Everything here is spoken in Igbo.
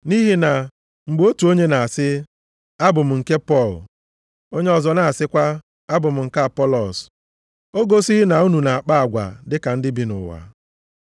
Nʼihi na mgbe otu onye na-asị, “Abụ m nke Pọl,” onye ọzọ na-asịkwa, “Abụ m nke Apọlọs,” o gosighị na unu na-akpa agwa dịka ndị bi nʼụwa?